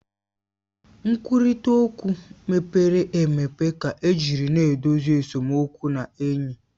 Nkwurịta okwu mepere emepe ka ejiri na-edozi esemokwu na enyi